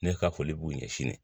Ne ka foli b'u ɲɛsin ne ma